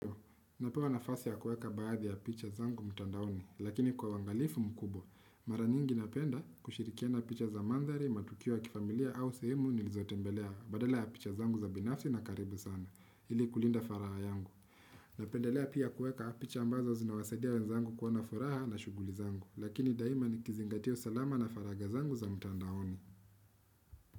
Napewa nafasi ya kueka baadhi ya picha zangu mtandaoni, lakini kwa uangalifu mkubwa, mara nyingi napenda kushirikiana picha za mandhari, matukio ya kifamilia au sehemu nilizotembelea badala ya picha zangu za binafsi na karibu sana, ili kulinda faragha yangu. Napendelea pia kueka picha ambazo zinawasadia wenzangu kuwa na furaha na shughuli zangu, lakini daima nikizingatia usalama na faragha zangu za mtandaoni.